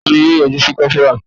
Taani yọ yọjú sí kopara